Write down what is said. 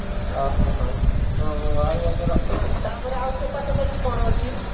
ଅ ହଁ ହଁ ହୁଁ ଆଉ ଆମର ତାପରେ ସେ ପାଖପାଖି କଣ ଅଛି